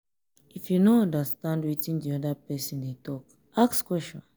if you no understand wetin di oda person dey talk ask question